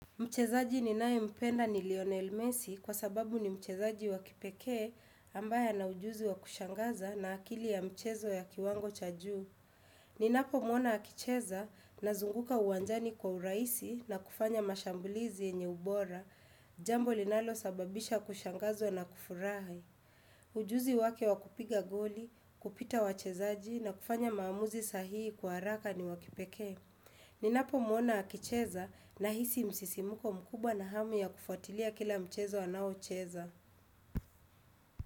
Mchezaji ni naye mpenda ni Lionel Messi kwa sababu ni mchezaji wa kipekee ambaye ana ujuzi wa kushangaza na akili ya mchezo ya kiwango cha juu. Ninapo mwona akicheza nazunguka uwanjani kwa urahisi na kufanya mashambulizi yenye ubora, jambo linalo sababisha kushangazwa na kufurahi. Ujuzi wake wa kupiga goli, kupita wachezaji na kufanya maamuzi sahii kwa haraka na wakipekee. Ninapo muona akicheza na hisi msisimuko mkubwa na hamu ya kufuatilia kila mchezo anao cheza.